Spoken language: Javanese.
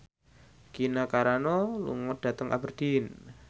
Gina Carano lunga dhateng Aberdeen